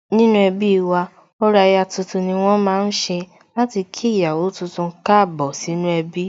Nínú ẹbí wa, orò aya tuntun ni wón ma ń ṣe láti kí ìyàwó tuntun Káàbọ̀ sínú ẹbí